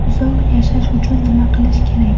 Uzoq yashash uchun nima qilish kerak?.